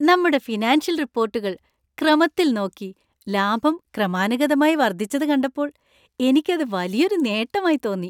നമ്മുടെ ഫിനാൻഷ്യൽ റിപ്പോർട്ടുകൾ ക്രമത്തിൽ നോക്കി, ലാഭം ക്രമാനുഗതമായി വർദ്ധിച്ചത് കണ്ടപ്പോൾ എനിക്ക് അത് വലിയൊരു നേട്ടമായി തോന്നി .